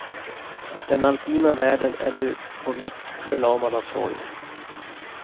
Den alpina världen är nu på nytt förlamad av sorg.